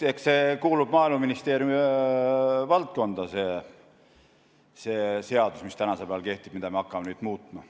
Eks see kuulub Maaeluministeeriumi valdkonda, see seadus, mis praegu kehtib ja mida me hakkame nüüd muutma.